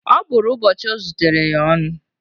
Ọ bụrụ ụbọchị ọ zutere ya ọnụ